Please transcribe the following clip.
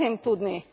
Szeretném tudni.